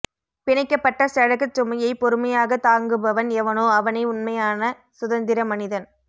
பிணைக்கப்பட்ட செடகச் சுமையை பொறுமையாகத் தாங்குபவன் எவனோ அவனே உண்மையான சுதந்திர மனிதன்